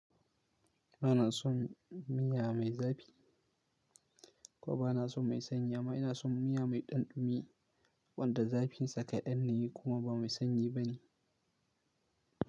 Ba na son miya me zafi ko ba na son me sanyi. Amma ina son miya me ɗanɗumi wanda zafin sa kaɗan ne kuma ba me sanyi ba ne.